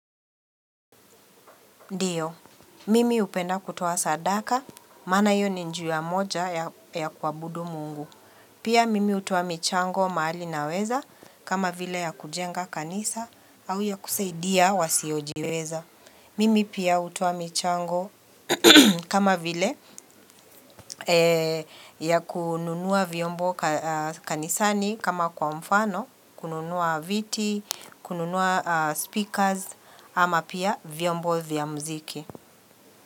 Ndio, mimi upenda kutoa sadaka, maana hiyo ni njia moja ya kuabudu mungu. Pia mimi hutoa michango maali na weza kama vile ya kujenga kanisa au ya kusaidia wasiyojiweza. Mimi pia hutoa michango kama vile ya kununua viombo kanisani kama kwa mfano, kununua viti, kununua speakers ama pia viombo vya mziki.